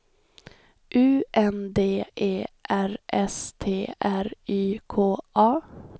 U N D E R S T R Y K A